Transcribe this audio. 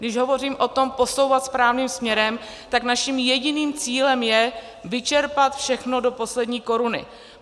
Když hovořím o tom posouvat správným směrem, tak naším jediným cílem je vyčerpat všechno do poslední koruny.